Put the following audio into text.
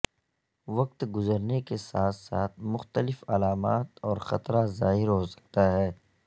وقت گزرنے کے ساتھ ساتھ مختلف علامات اور خطرہ ظاہر ہو سکتا ہے